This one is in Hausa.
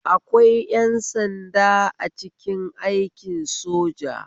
Akwai ƴan sanda a cikin aikin soja